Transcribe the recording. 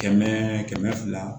Kɛmɛ kɛmɛ fila